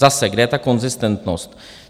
Zase, kde je ta konzistentnost?